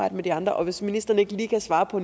med de andre og hvis ministeren ikke lige kan svare på